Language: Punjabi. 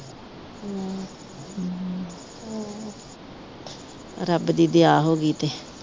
ਰੱਬ ਦੀ ਦਿਆਂ ਹੋਗੀ ਤੇ